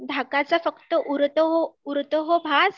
धाकाचा फक्त उरतो हो भास